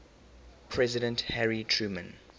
president harry truman